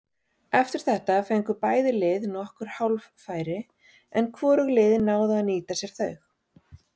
Eftir þetta fengu bæði lið nokkur hálffæri en hvorug liðin náðu að nýta sér þau.